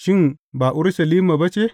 Shin, ba Urushalima ba ce?